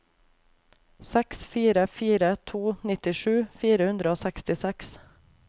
seks fire fire to nittisju fire hundre og sekstiseks